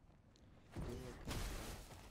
белая калитва